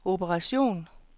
operation